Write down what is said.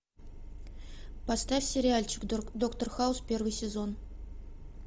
поставь сериальчик доктор хаус первый сезон